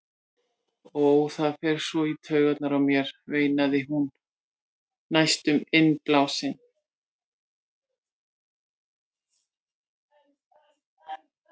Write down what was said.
Ó, það fer svo í taugarnar á mér, veinaði hún næstum innblásin.